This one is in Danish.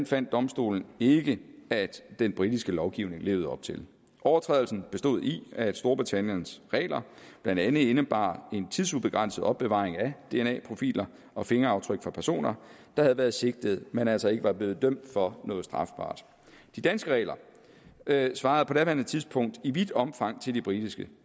fandt domstolen ikke at den britiske lovgivning levede op til overtrædelsen bestod i at storbritanniens regler blandt andet indebar en tidsubegrænset opbevaring af dna profiler og fingeraftryk fra personer der havde været sigtet men altså ikke var blevet dømt for noget strafbart de danske regler regler svarede på daværende tidspunkt i vidt omfang til de britiske